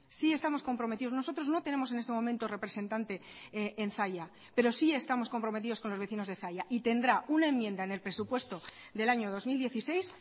sí estamos comprometidos nosotros no tenemos en este momento representante en zalla pero sí estamos comprometidos con los vecinos de zalla y tendrá una enmienda en el presupuesto del año dos mil dieciséis